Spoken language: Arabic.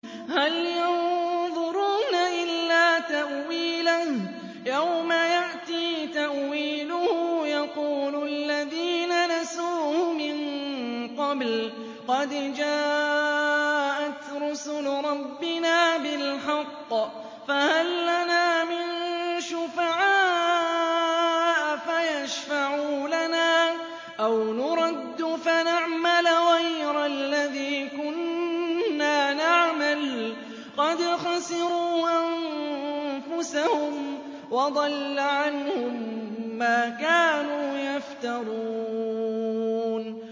هَلْ يَنظُرُونَ إِلَّا تَأْوِيلَهُ ۚ يَوْمَ يَأْتِي تَأْوِيلُهُ يَقُولُ الَّذِينَ نَسُوهُ مِن قَبْلُ قَدْ جَاءَتْ رُسُلُ رَبِّنَا بِالْحَقِّ فَهَل لَّنَا مِن شُفَعَاءَ فَيَشْفَعُوا لَنَا أَوْ نُرَدُّ فَنَعْمَلَ غَيْرَ الَّذِي كُنَّا نَعْمَلُ ۚ قَدْ خَسِرُوا أَنفُسَهُمْ وَضَلَّ عَنْهُم مَّا كَانُوا يَفْتَرُونَ